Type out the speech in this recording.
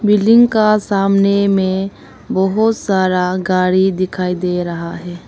Building का सामने में बहोत सारा गाड़ी दिखाई दे रहा है।